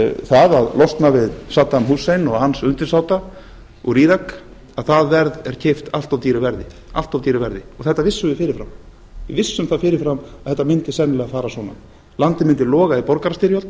það að losna við saddam hussein og hans undirsáta úr írak það verð er keypt allt of dýru verði og þetta vissum við fyrirfram við vissum það fyrirfram að þetta mundi sennilega fara svona landið mundi loga í borgarastyrjöld